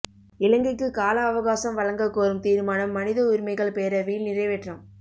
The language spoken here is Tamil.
இலங்கைக்கு கால அவகாசம் வழங்கக் கோரும் தீர்மானம் மனித உரிமைகள் பேரவையில் நிறைவேற்றம்